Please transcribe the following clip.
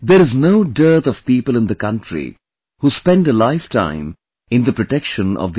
There is no dearth of people in the country who spend a lifetime in the protection of the environment